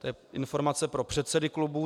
To je informace pro předsedy klubů.